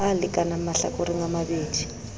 a lekanang mahlakoreng a mabedi